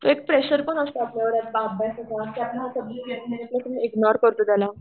तो एक प्रेशर पण असतो आपल्यावर अभ्यासाचा कि आपल्याला हा सबजेक्ट येत नाही ताई इग्नोर करतो त्याला.